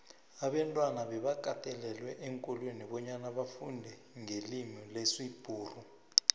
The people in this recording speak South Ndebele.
abantwana bebakatelelwa eenkolweni bonyana bafundenqelimilesibhuxu